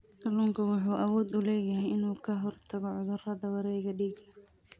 Kalluunku wuxuu awood u leeyahay inuu ka hortago cudurrada wareegga dhiigga.